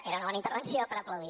era una bona intervenció per aplaudir